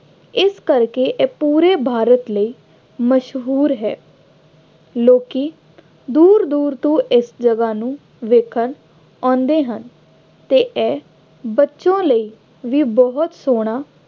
ਇਸ ਕਰਕੇ ਇਹ ਪੂਰੇ ਭਾਰਤ ਲਈ ਮਸ਼ਹੂਰ ਹੈ। ਲੋਕੀ ਦੂਰ ਦੂਰ ਤੋਂ ਇਸ ਜਗ੍ਹਾ ਨੂੰ ਵੇਖਣ ਆਉਂਦੇ ਹਨ ਅਤੇ ਇਹ ਬੱਚਿਆਂ ਲਈ ਵੀ ਬਹੁਤ ਸੋਹਣਾ